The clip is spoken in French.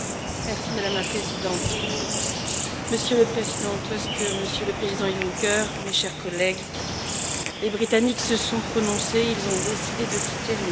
Madame la Présidente, Monsieur le Président Tusk, Monsieur le Président Juncker, mes chers collègues, les Britanniques se sont prononcés et ils ont décidé de quitter l'Union.